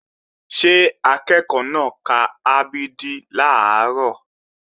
Ṣé akẹ́ẹ̀kọ́ náà ka a b d làárọ̀?